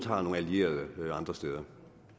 har nogen allierede andre steder